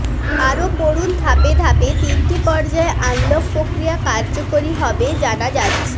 আরও পড়ুন ধাপে ধাপে তিনটি পর্যায়ে আনলক প্রক্রিয়া কার্যকরী হবে জানা যাচ্ছে